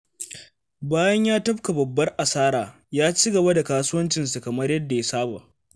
Bayan ya tafka babbar asara, ya ci gaba da kasuwancinsa kamar yadda ya saba.